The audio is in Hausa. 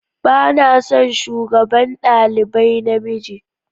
Ba na son shugaban dalibai na mijin.